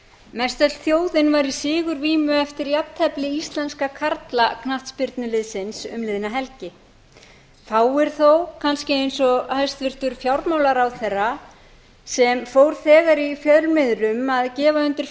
mestöll þjóðin var í sigurvímu eftir jafntefli íslenska karla knattspyrnuliðsins um liðna helgi fáir þó kannski eins og hæstvirtur fjármálaráðherra sem fór þegar í fjölmiðlum að gefa undir